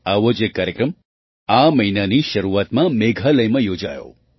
આવો જ એક કાર્યક્રમ આ મહિનાની શરૂઆતમાં મેઘાલયમાં યોજાયો